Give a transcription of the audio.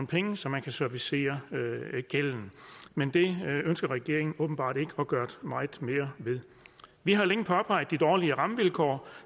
penge så man kan servicere gælden men det ønsker regeringen åbenbart ikke at gøre meget mere ved vi har længe påpeget de dårlige rammevilkår